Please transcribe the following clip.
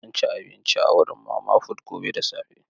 Zan ci abinci a wurin mama fut gobe da safe.